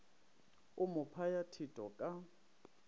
o mo phaya thetho ka